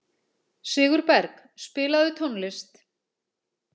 Sigurberg, spilaðu tónlist.